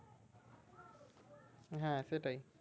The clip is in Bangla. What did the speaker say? হ্যাঁ সেটাই